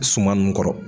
Suman nun kɔrɔ